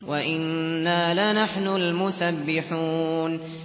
وَإِنَّا لَنَحْنُ الْمُسَبِّحُونَ